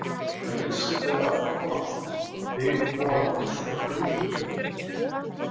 En vissirðu að Þorláksbúð var byggð ofan á fullt af dauðu fólki?